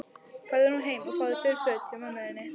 Farðu nú heim og fáðu þurr föt hjá mömmu þinni.